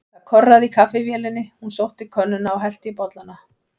Það korraði í kaffivélinni, hún sótti könnuna og hellti í bollana.